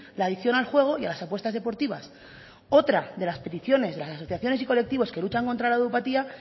la adicción al juego y a las apuestas deportivas otra de las peticiones de las asociaciones y colectivos que luchan contra la ludopatía